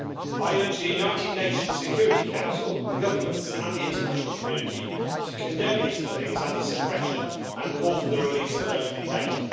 I urge the United Nations Security Council, governments and the international community to condemn these killings and the suppression and call for the release of those detained.